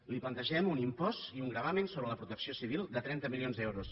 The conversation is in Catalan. li plantegem un impost i un gravamen sobre la protecció civil de trenta milions d’euros